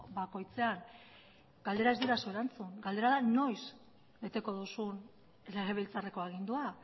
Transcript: bakoitzean galdera ez didazu erantzun galdera da noiz beteko duzun legebiltzarreko agindua